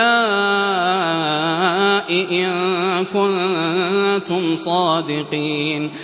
هَٰؤُلَاءِ إِن كُنتُمْ صَادِقِينَ